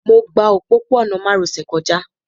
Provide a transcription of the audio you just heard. Mo gba òpópó-ọ̀nà márosẹ̀ kọjá